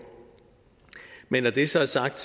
men når det så er sagt